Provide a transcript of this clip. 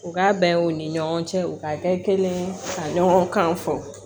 U ka bɛnw ni ɲɔgɔn cɛ u ka bɛɛ kelen ka ɲɔgɔn kan fɔ